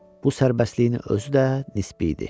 Bu sərbəstliyi özü də nisbi idi.